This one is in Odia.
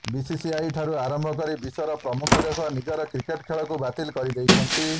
ବିସିସିଆଇଠାରୁ ଆରମ୍ଭ କରି ବିଶ୍ୱର ପ୍ରମୁଖ ଦେଶ ନିଜର କ୍ରିକେଟ୍ ଖେଳକୁ ବାତିଲ୍ କରିଦେଇଛନ୍ତି